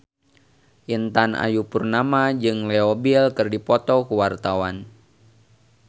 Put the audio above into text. Intan Ayu Purnama jeung Leo Bill keur dipoto ku wartawan